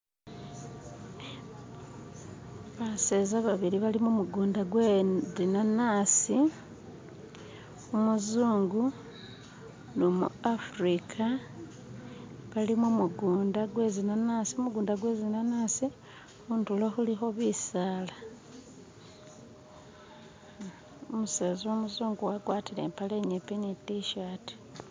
Baseeza babili bali mumugunda gwe zinanasi umuzungu numu africa bali mumugunda gwe zinanasi gumugunda gwe zinanasi khundulo khulikho bisaala umuseza umuzungu wagwatile ipale inyipi ni tishati